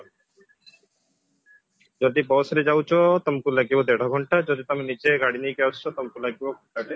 ଯଦି bus ରେ ଯାଉଛ ତମକୁ ଲାଗିବା ଦେଢ ଘଣ୍ଟା ଯଦି ତମେ ନିଜ ଗାଡି ନେଇକି ଆସୁଛ ତମକୁ ଲାଗିବା ଘଣ୍ଟାଟେ